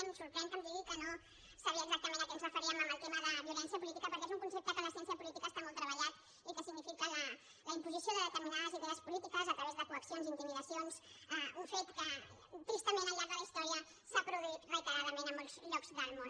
em sorprèn que em digui que no sabia exactament a què ens referíem amb el tema de violència política perquè és un concepte que en la ciència política està molt treballat i que significa la imposició de determinades idees polítiques a través de coaccions intimidacions un fet que tristament al llarg de la història s’ha produït reiteradament en molts llocs del món